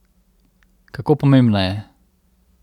Kako pomembna je?